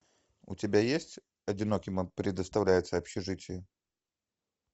у тебя есть одиноким предоставляется общежитие